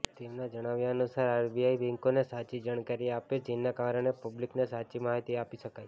તેમના જણાવ્યા અનુસાર આરબીઆઈ બેંકોને સાચી જાણકારી આપે જેના કારણે પબ્લિકને સાચી માહિતી આપી શકાય